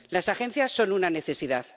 Las agencias son una necesidad